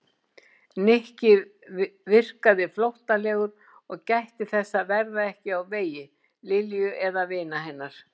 Nikki virkaði flóttalegur og gætti þess að verða ekki á vegi Lilju eða vina hennar.